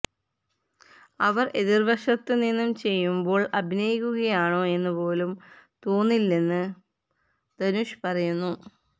അവര് എതിര്വശത്ത് നിന്ന് ചെയ്യുമ്പോള് അഭിനയിക്കുകയാണോ എന്ന് പോലും തോന്നില്ലന്ന് ധനുഷ് പറയുന്നു